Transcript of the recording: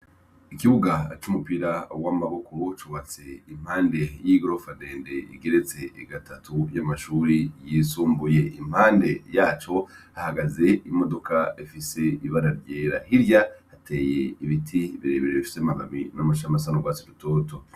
Ikibuga c' umupira w' amaboko cubatse impande y' igorofa ndende igeretse gatatu ry' amashure yisumbuye impande yaco hahagaze imodoka ifise ibara ryera hirya hateye ibiti bire bire bifise amababi n' amashami asa n' ugwatsi rutoto.